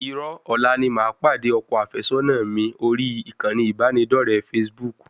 Irọ́, ọ̀la ni màá pàdé ọkọ àfẹ́sọ́nà mi orí ìkànnì ìbánidọre facebook